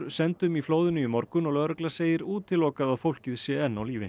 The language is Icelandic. sendum í flóðinu í morgun og lögregla segir útilokað að fólkið sé enn á lífi